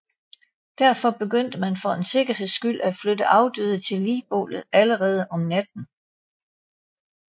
Derfor begyndte man for en sikkerheds skyld at flytte afdøde til ligbålet allerede om natten